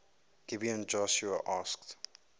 gibeon joshua asked